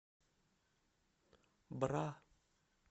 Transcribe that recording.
бра